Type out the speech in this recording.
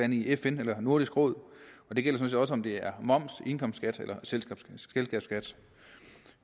i fn eller nordisk råd og det gælder ligegyldigt om det er moms indkomstskat eller selskabsskat